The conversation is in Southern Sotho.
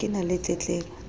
ha ke na le tletlebo